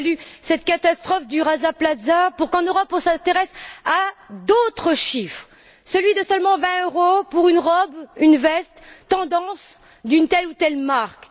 Il a fallu cette catastrophe du Rana Plaza pour qu'en Europe, on s'intéresse à d'autres chiffres, celui de seulement 20 euros pour une robe, une veste tendance de telle ou telle marque.